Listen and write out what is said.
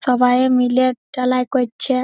সবাই মিলে ঢালাই করছে --